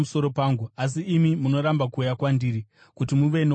asi imi munoramba kuuya kwandiri kuti muve noupenyu.